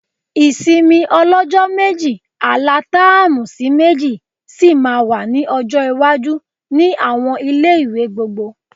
Ìsinmi ọlọ́jọ́ méjì alatáàmù sí méjì sì máa wà ní ọjọ́ iwájú ni àwọn ilé-ìwé gbogbo